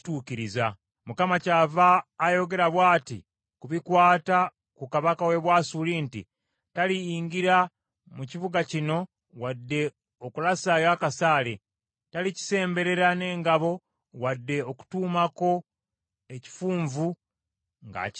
“Noolwekyo bw’ati bw’ayogera Mukama ku bikwata ku kabaka w’e Bwasuli, nti, “ ‘Kabaka oyo taliyingira mu kibuga kino, wadde okulasayo akasaale. Talikisemberera n’engabo newaakubadde okutuumako ekifunvu ng’akitaayiza.